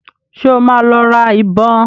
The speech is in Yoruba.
Ṣé ó máa lọ ra ìbọn?